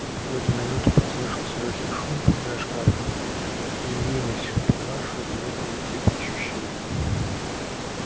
в эту минуту послышался лёгкий шум и из-за шкафа явилась палаша бледная и трепещущая